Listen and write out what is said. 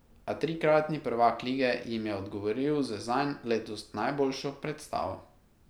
A trikratni prvak lige jim je odgovoril z zanj letos najboljšo predstavo.